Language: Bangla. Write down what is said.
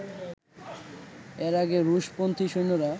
এর আগে রুশ-পন্থী সৈন্যরা